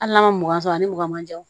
Hali n'a ma mɔgɔn sɔrɔ a ni mɔgɔ man jan